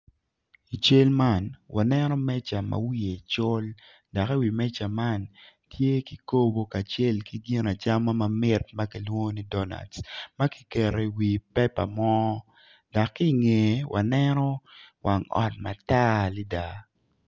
I cal man waneno meja ma wiye col dak i wi meja man tye ki kobo kacel ki gin acama ma mit ma kilwongo ni donac ma kiketo iwi pepa mo dak ki inge waneno wang ot matar adida